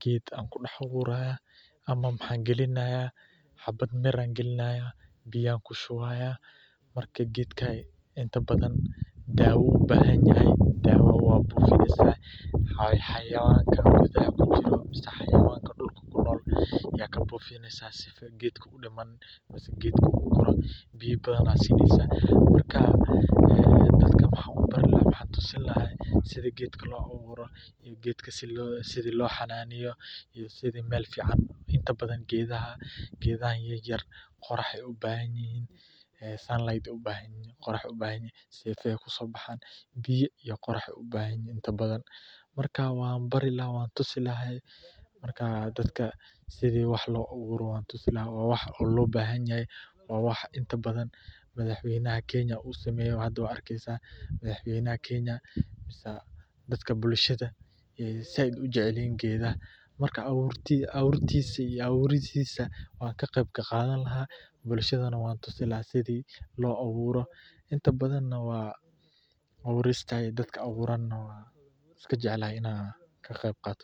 geed ayaan ku abuuri laha, wuxuu ubahan yahay daawa, xawayanka geed kunool, biya ayaad sineysa, waxaan tusin lahaa sida geedka loo xananeeyo, biya iyo qorax ayeey ubahan yihiin, waa wax inta badan madax weynaha uu sameeyo, abuuristissa wan ka qeyb qaadan lahaa, waana iska jeclahay.